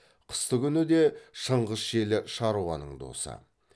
қыстыгүні де шыңғыс желі шаруаның досы